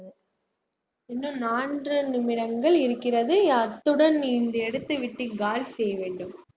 இன்னும் நான்கு நிமிடங்கள் இருக்கிறது அத்துடன் இந்த இடத்தை விட்டு காலி செய்ய வேண்டும்